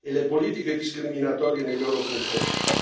e le politiche discriminatorie nei loro confronti.